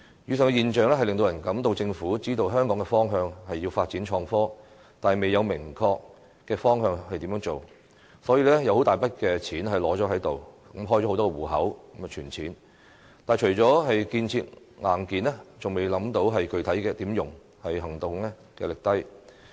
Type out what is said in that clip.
以上的現象令人覺得政府知道香港的方向是要發展創科，但應如何落實則未有明確措施，所以開設了很多"戶口"，存放大筆金錢，但除了建設硬件，仍未想到具體要如何使用，行動力低。